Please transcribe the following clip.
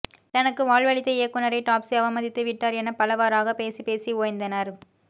தனக்கு வாழ்வளித்த இயக்குநரை டாப்ஸி அவமதித்து விட்டார் எனப் பலவாறாகப் பேசிப் பேசி ஓய்ந்தனர்